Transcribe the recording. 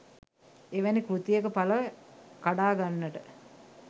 එවැනි කෘතියක පල කඩාගන්නට